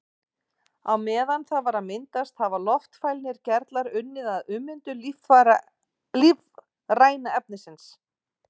Á meðan það var að myndast hafa loftfælnir gerlar unnið að ummyndun lífræna efnisins.